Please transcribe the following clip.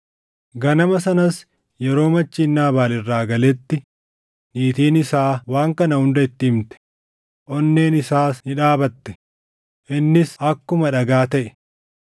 Ganama sanas yeroo machiin Naabaal irraa galetti niitiin isaa waan kana hunda itti himte; onneen isaas ni dhaabatte; innis akkuma dhagaa taʼe.